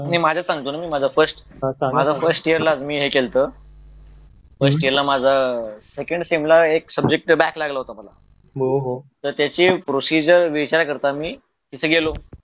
मी माझं सांगतो ना फर्स्ट माझ्या फर्स्ट इयर लाच मी हे केल होतं पण सेकेंड सेम ला माझा एक सब्जेक्ट बॅक लागला होता तर त्याची प्रोसिजर विचारण्या करिता मी तिथे गेलो